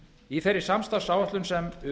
í þeirri samstarfsáætlun sem